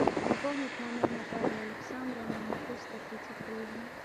пополнить номер натальи александровны на триста тридцать гривен